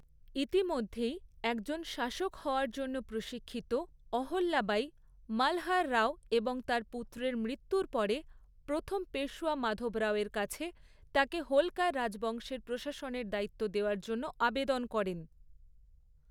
ইতিমধ্যেই একজন শাসক হওয়ার জন্য প্রশিক্ষিত, অহল্যাবাঈ, মালহার রাও এবং তাঁর পুত্রের মৃত্যুর পরে প্রথম পেশওয়া মাধব রাওয়ের কাছে তাঁকে হোলকার রাজবংশের প্রশাসনের দায়িত্ব দেওয়ার জন্য আবেদন করেন।